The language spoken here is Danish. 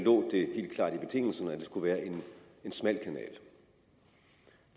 skulle være en smal kanal